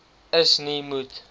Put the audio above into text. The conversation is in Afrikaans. is nie moet